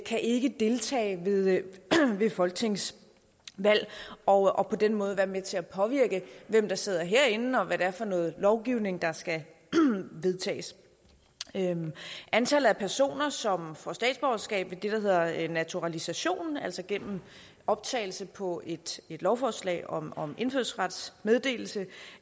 kan ikke deltage ved folketingsvalg og på den måde være med til at påvirke hvem der sidder herinde og hvad det er for noget lovgivning der skal vedtages antallet af personer som får statsborgerskab ved det der hedder naturalisation altså gennem optagelse på et lovforslag om om indfødsrets meddelelse